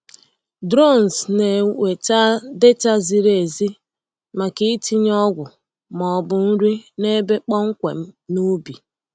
Drones na-eweta data ziri ezi maka ịtinye ọgwụ ma ọ bụ nri n’ebe kpọmkwem n’ubi.